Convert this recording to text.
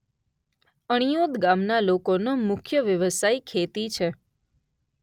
અણિયોડ ગામના લોકોનો મુખ્ય વ્યવસાય ખેતી છે.